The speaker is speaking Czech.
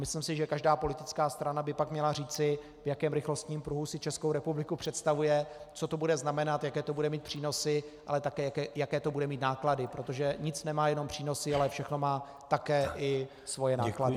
Myslím si, že každá politická strana by pak měla říci, v jakém rychlostním pruhu si Českou republiku představuje, co to bude znamenat, jaké to bude mít přínosy, ale také jaké to bude mít náklady, protože nic nemá jenom přínosy, ale všechno má také i svoje náklady.